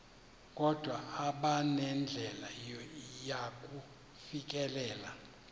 kodwa abanandlela yakufikelela